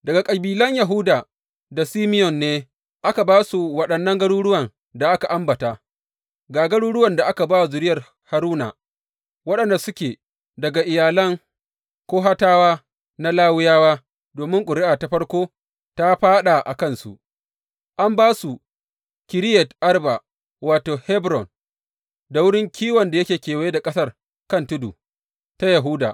Daga kabilan Yahuda da Simeyon ne aka ba su waɗannan garuruwan da aka ambata, ga garuruwan da aka ba wa zuriyar Haruna waɗanda suke daga iyalan Kohatawa na Lawiyawa, domin ƙuri’a ta farko ta fāɗa a kansu, an ba su, Kiriyat Arba wato, Hebron, da wurin kiwon da yake kewaye da ƙasar kan tudu ta Yahuda.